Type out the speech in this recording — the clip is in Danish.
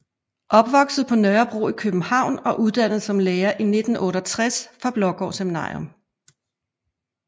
Opvokset på Nørrebro i København og uddannet som lærer i 1968 fra Blaagaard Seminarium